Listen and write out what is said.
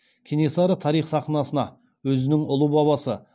кенесары тарих сахнасына өзінің ұлы бабасы